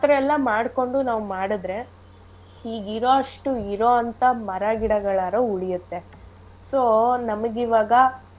ಆಥರ ಎಲ್ಲಾ ಮಾಡ್ಕೊಂಡ್ ನಾವು ಮಾಡದ್ರೆ ಈಗಿರೋ ಅಷ್ಟು ಈಗಿರೋಂಥ ಮರಗಿಡಗಳಾದ್ರು ಉಳಿಯತ್ತೆ so ನಮಿಗಿವಾಗ.